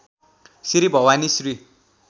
Shri Bhavani Shri